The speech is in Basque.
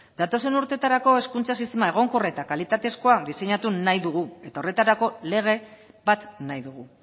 datozen urteetarako hezkuntza sistema egonkor eta kalitatezkoa diseinatu nahi dugu eta horretarako lege bat nahi dugu